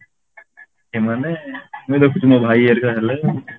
ଏମାନେ ମାନେ ଦେଖୁଛୁ ମୋ ଭାଇ ଆରିକା ହେଲେ